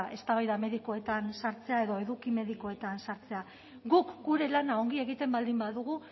eztabaida medikoetan sartzea edo eduki medikoetan sartzea guk gure lana ongi egiten baldin badugu